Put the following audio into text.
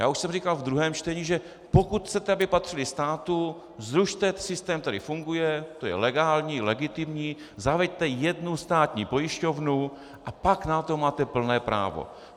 Já už jsem říkal ve druhém čtení, že pokud chcete, aby patřily státu, zrušte systém, který funguje, to je legální, legitimní, zaveďte jednu státní pojišťovnu, a pak na to máte plné právo.